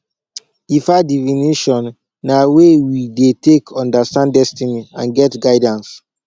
ifa divination na way we dey take understand destiny and get guidance